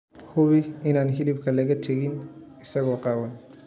Hubi inaan hilibka laga tegin isagoo qaawan.